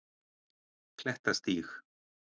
Klettastíg